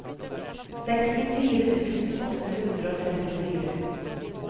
sekstifire tusen åtte hundre og trettifire